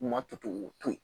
U ma to k'u to ye